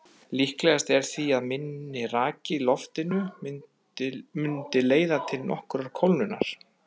Líklegast er því að minni raki í loftinu mundi leiða til nokkurrar kólnunar.